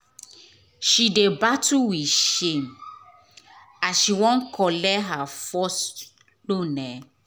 she dey battle with shame as she wan collect her first loan. um